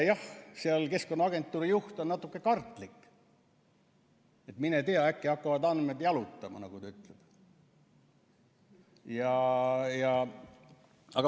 Jah, Keskkonnaagentuuri juht on seal natuke kartlik, et mine tea, äkki hakkavad andmed jalutama, nagu ta ütleb.